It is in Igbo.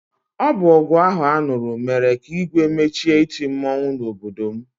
Ọ bụ ọgụ ahụ a nụrụ mere ka Igwe mechie iti mmọnwụ n'obodo m.